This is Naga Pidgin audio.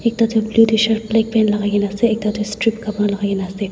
ekta tu blue tshirt black pants lakaikaena ase aro ekta toh strip kapra lakai kaena ase.